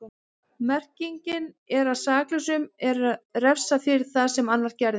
Merkingin er að saklausum er refsað fyrir það sem annar gerði.